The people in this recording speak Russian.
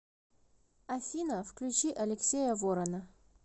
афина включи алексея ворона